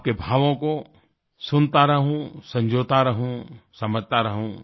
आपके भावों को सुनता रहूँ संजोता रहूँ समझता रहूँ